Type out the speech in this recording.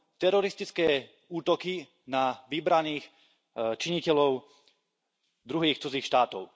teroristické útoky na vybraných činiteľov druhých cudzích štátov.